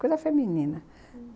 Coisa feminina, hum...